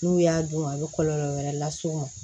N'u y'a dun a bɛ kɔlɔlɔ wɛrɛ las'u ma